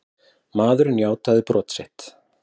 Maðurinn játaði brot sitt.